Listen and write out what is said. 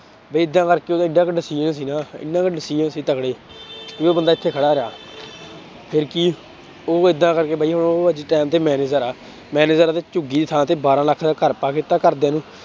ਵੀ ਏਦਾਂ ਕਰਕੇ ਉਹਦਾ ਇੱਡਾ ਕੁ decision ਸੀ ਨਾ ਇੰਨਾ ਕੁ decision ਸੀ ਤਕੜੇ ਵੀ ਉਹ ਬੰਦਾ ਇੱਥੇ ਖੜਾ ਰਿਹਾ ਫਿਰ ਕੀ ਉਹ ਏਦਾਂ ਕਰਕੇ ਬਾਈ ਉਹ ਅੱਜ time ਤੇ manager ਆ manager ਆ ਉਹਦੇ ਝੁੱਗੀ ਦੀ ਥਾਂ ਤੇ ਬਾਰਾਂ ਲੱਖ ਦਾ ਘਰ ਪਾ ਕੇ ਦਿੱਤਾ ਘਰਦਿਆਂ ਨੂੰ